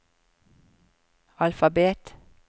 alfabet